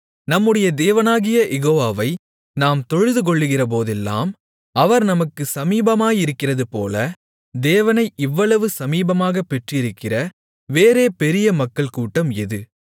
நம்முடைய தேவனாகிய யெகோவாவை நாம் தொழுதுகொள்ளுகிறபோதெல்லாம் அவர் நமக்குச் சமீபமாயிருக்கிறதுபோல தேவனை இவ்வளவு சமீபமாகப் பெற்றிருக்கிற வேறே பெரிய மக்கள் கூட்டம் எது